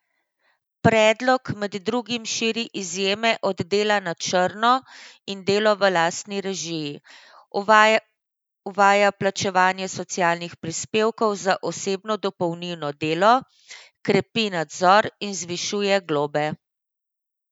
Predlog med drugim širi izjeme od dela na črno in delo v lastni režiji, uvaja plačevanje socialnih prispevkov za osebno dopolnilno delo, krepi nadzor in zvišuje globe.